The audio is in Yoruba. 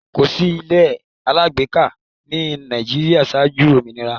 Kòsí ilé alágbèéká ní Nàìjíríà ṣáájú òmìnira.